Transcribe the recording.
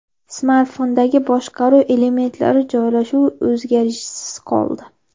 Smartfondagi boshqaruv elementlari joylashuvi o‘zgarishsiz qoldi.